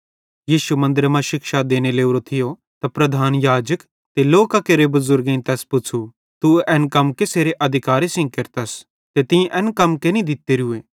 यीशु मन्दरे मां शिक्षा देने लोरो थियो त प्रधान याजक ते लोकां केरे बुज़ुर्गेईं तैस पुच़्छ़ू तू एन कम कसेरे अधिकारे सेइं केरतस ते तीं एन कम कैनी दित्तोरोए